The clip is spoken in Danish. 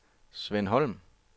Sven Holm